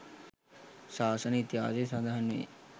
ශාසන ඉතිහාසයේ සඳහන් වේ.